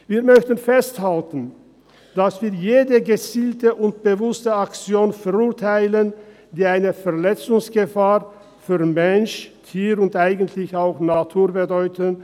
Wir möchten festhalten, dass wir jede gezielte und bewusste Aktion verurteilen, die eine Verletzungsgefahr für Mensch, Tier und eigentlich auch Natur bedeutet.